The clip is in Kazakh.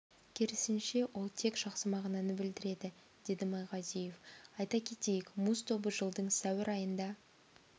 керісінше ол тек жақсы мағынаны білдіреді деді майғазиев айта кетейік муз тобы жылдың сәуір айында